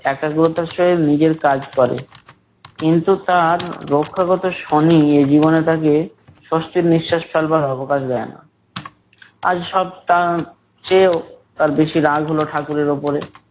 একাগ্রতার সহিত নিজের কাজ করে। কিন্তু তার রক্ষাগত শনি এ জীবনে তাকে স্বস্তির নিঃশাস ফেলবার অবকাশ দেয় না । আজ সব টা এর চেয়েও তার বেশি রাগ হলো ঠাকুরের ওপরে